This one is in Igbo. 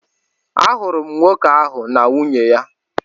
Ahụrụ m nwoke ahụ na nwunye ya.